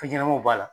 Fɛn ɲɛnɛmaw b'a la